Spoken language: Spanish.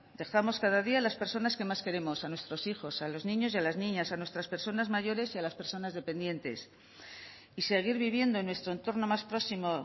dejamos cada día las personas que más queremos a nuestros hijos a los niños y a las niñas a nuestras personas mayores y a las personas dependientes y seguir viviendo en nuestro entorno más próximo